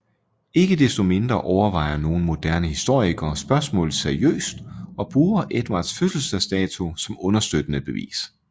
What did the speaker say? Ikke desto mindre overvejer nogle moderne historikere spørgsmålet seriøst og bruger Edvards fødselsdato som understøttende bevis